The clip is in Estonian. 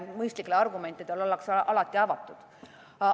Mõistlikele argumentidele ollakse alati avatud.